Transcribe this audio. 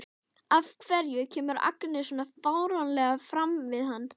Af hverju kemur Agnes svona fáránlega fram við hann?